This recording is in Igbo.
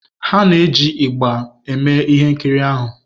Ha na-eji ịgbà eme ihe nkiri ahụ.